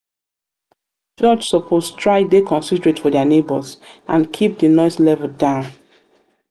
church suppose um try dey considerate of dia neigbhors and keep di noise level down.